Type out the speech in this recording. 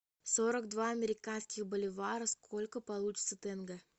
сорок два американских боливара сколько получится тенге